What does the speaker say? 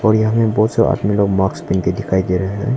यहां में बहोत से आदमी लोग मास्क पहन के दिखाई दे रहा है।